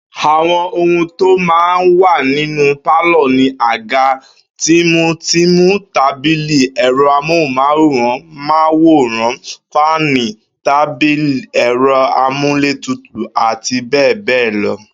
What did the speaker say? Àwo̩n ohun tó máa ń wà nínú pálò̩ ni àga tìmùtìmù, tábìlì, è̩ro̩ amóhùn-máwòrán, fáànì tàbí è̩ro̩ amúlétutù, abbl.